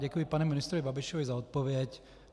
Děkuji panu ministrovi Babišovi za odpověď.